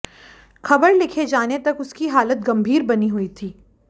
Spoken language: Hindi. खबर लिखे जाने तक उसकी हालत गंभीर बनी हुई थी